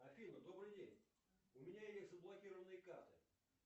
афина добрый день у меня есть заблокированные карты